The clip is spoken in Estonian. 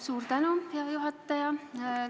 Suur tänu, hea juhataja!